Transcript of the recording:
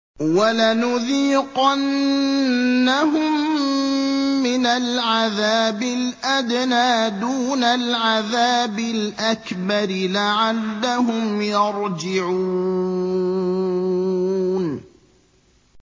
وَلَنُذِيقَنَّهُم مِّنَ الْعَذَابِ الْأَدْنَىٰ دُونَ الْعَذَابِ الْأَكْبَرِ لَعَلَّهُمْ يَرْجِعُونَ